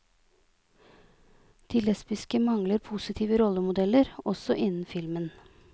De lesbiske mangler positive rollemodeller, også innen filmen.